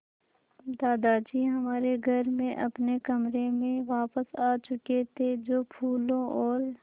दादाजी हमारे घर में अपने कमरे में वापस आ चुके थे जो फूलों और